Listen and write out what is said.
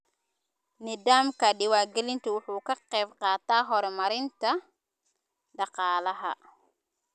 Nidaamka diiwaangelintu wuxuu ka qaybqaataa horumarinta dhaqaalaha.